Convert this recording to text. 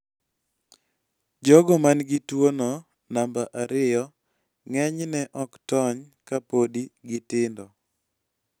jogo man gi tuo no namba ariyo ng'eny ne ok tony ka podi gitindo